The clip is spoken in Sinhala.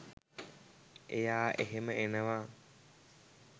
එයා එහෙම එනව